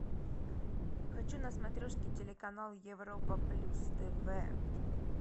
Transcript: хочу на смотрешке телеканал европа плюс тв